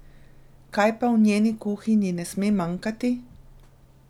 Kaj pa v njeni kuhinji ne sme manjkati?